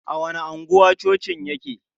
A wani anguwa cocin yake?